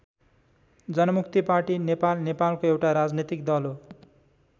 जनमुक्ति party Nepal नेपालको एउटा राजनीतिक दल हो।